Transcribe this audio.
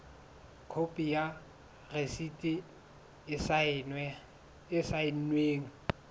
khopi ya rasiti e saennweng